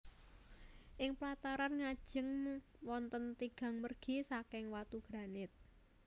Ing plataran ngajeng wonten tigang mergi saking watu granit